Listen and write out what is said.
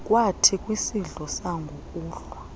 kwathi kwisidlo sangokuhlwa